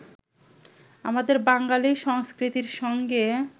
আমাদের বাঙালী সংস্কৃতির সঙ্গে